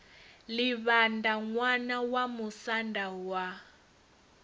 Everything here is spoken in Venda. livhaṋda ṋwana wa musanda wa